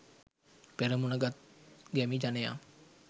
පෙරමුණ ගත් ගැමි ජනයා